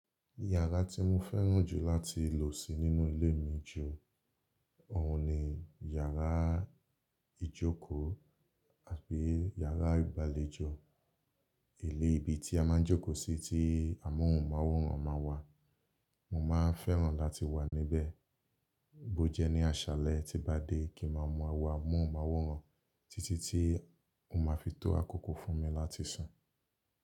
Yàrá tí mo fẹ́ràn jù láti lò sí nínú ilé mi jù ọ̀hun ni yàrá ìjókòó àbi yàrá ìgbàlejò. Ilé ibi tí a máa ń jókòó sí tí amóhùnmáwòrán máa wà. Mo máa ń fẹ́ràn láti wà níbẹ̀. Bó jẹ́ ní àṣálẹ́ tí n bá dé kí maa maa wọ amóhùnmáwòrán títí tí o máa fi tó àkókò fún mi láti sùn.